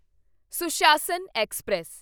Sushasan express